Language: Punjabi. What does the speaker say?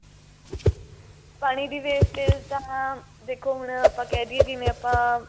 ਪਾਣੀ ਦੀ wastage ਤਾਂ ਦੇਖੋ ਹੁਣ ਆਪਾਂ ਕਹਿਦੀਏ ਜਿਵੇਂ ਆਪਾਂ